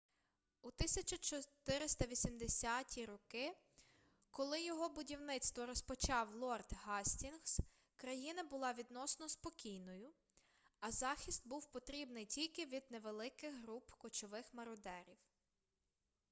у 1480 роки коли його будівництво розпочав лорд гастінгс країна була відносно спокійною а захист був потрібний тільки від невеликих груп кочових мародерів